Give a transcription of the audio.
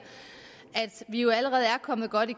at vi jo allerede er kommet godt i